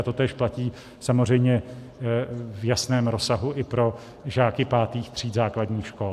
A totéž platí samozřejmě v jasném rozsahu i pro žáky pátých tříd základních škol.